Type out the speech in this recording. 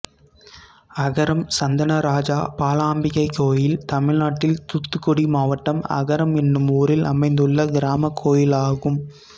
அகரம் சந்தனராஜா பாலாம்பிகை கோயில் தமிழ்நாட்டில் தூத்துக்குடி மாவட்டம் அகரம் என்னும் ஊரில் அமைந்துள்ள கிராமக் கோயிலாகும்